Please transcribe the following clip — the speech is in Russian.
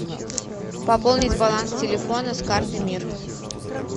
пополнить баланс телефона с карты мир